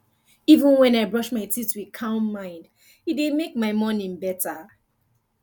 even when i brush my teeth with calm mind e dey make my morning better